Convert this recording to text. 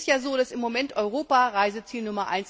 Es ist ja so, dass im Moment Europa Reiseziel Nr.